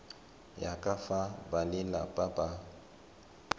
ya ka fa balelapa ba